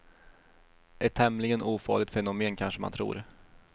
Ett tämligen ofarligt fenomen kanske man tror.